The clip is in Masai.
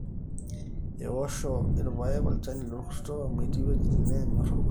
eosho irpaek olchani lolrkurto amu etii wuejitin neenyor orkurto